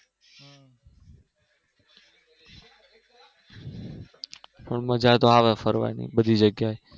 તો મજા તો આવે ફરવાની બધી જગ્યાએ